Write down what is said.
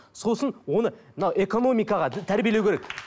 сосын оны мына экономикаға тәрбиелеу керек